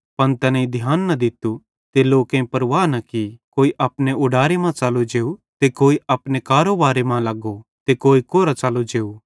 पन तैनेईं ध्यान न दित्तू ते कोई परवाह न की कोई अपने उडारे मां च़लो जेव ते कोई अपने कारोबारे मां लगो ते कोई कोरां च़लो जेव